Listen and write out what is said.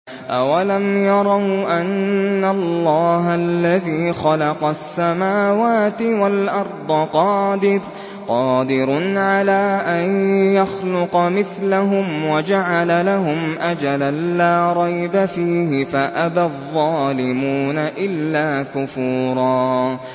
۞ أَوَلَمْ يَرَوْا أَنَّ اللَّهَ الَّذِي خَلَقَ السَّمَاوَاتِ وَالْأَرْضَ قَادِرٌ عَلَىٰ أَن يَخْلُقَ مِثْلَهُمْ وَجَعَلَ لَهُمْ أَجَلًا لَّا رَيْبَ فِيهِ فَأَبَى الظَّالِمُونَ إِلَّا كُفُورًا